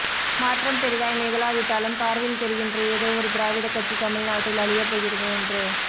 மாற்றம் பெரிதாய் நிகழாவிட்டாலும் பார்வையில் தெரிகின்ற ஏதோ ஒரு திராவிட கட்சி தமிழ்நாட்டில் அழிய போகிறது என்று